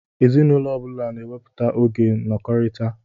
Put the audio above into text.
Ezinụlọ ọbula n'ewepụta oge nọkọritá